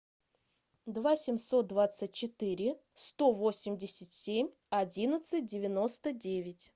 два семьсот двадцать четыре сто восемьдесят семь одиннадцать девяносто девять